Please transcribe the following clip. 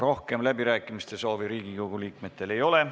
Rohkem läbirääkimiste soove Riigikogu liikmetel ei ole.